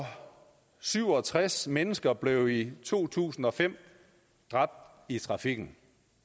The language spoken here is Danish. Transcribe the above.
syv og tres mennesker blev i to tusind og fem dræbt i trafikken